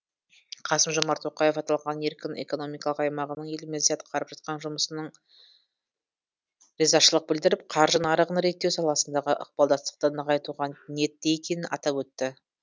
қасым жомарт тоқаев аталған еркін экономикалық аймағының елімізде атқарып жатқан жұмысына ризашылық білдіріп қаржы нарығын реттеу саласындағы ықпалдастықты нығайтуға ниетті екенін атап өтті